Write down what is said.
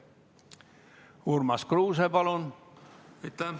Urmas Kruuse, palun!